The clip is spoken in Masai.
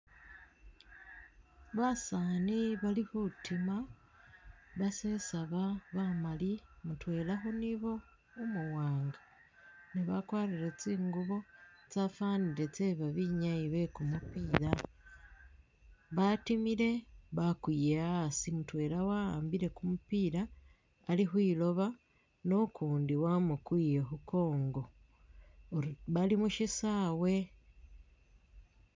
Basaani bali khutima basesaba bamali mutwela khunibo umu wanga ne bakwarire tsingubo tsafanile tse ba binyayi be kumupiila batimile bakwiiye asi mutwela wa'ambile kumupiila ali khwiloba ne ukundi wamukwiiye khu mukongo bali khushisaawe.